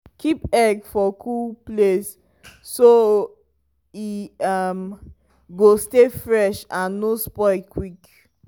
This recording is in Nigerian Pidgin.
keep egg for cool um place so e um go stay fresh and no spoil quick.